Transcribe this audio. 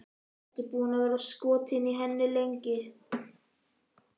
Ertu búinn að vera skotinn í henni lengi?